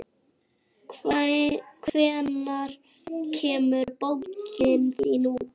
Hvenær kemur bókin þín út?